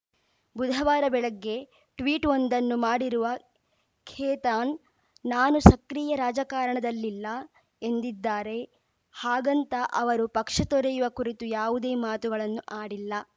ಬುಧವಾರ ಬೆಳಗ್ಗೆ ಟ್ವೀಟ್‌ವೊಂದನ್ನು ಮಾಡಿರುವ ಖೇತಾನ್‌ ನಾನು ಸಕ್ರಿಯ ರಾಜಕಾರಣದಲ್ಲಿಲ್ಲ ಎಂದಿದ್ದಾರೆ ಹಾಗಂತ ಅವರು ಪಕ್ಷ ತೊರೆಯುವ ಕುರಿತು ಯಾವುದೇ ಮಾತುಗಳನ್ನು ಆಡಿಲ್ಲ